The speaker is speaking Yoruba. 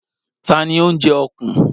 Ta ni ó ń jẹ ọ̀kùn?